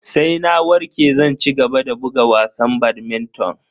Sai na warke zan cigaba da buga wasan badminton.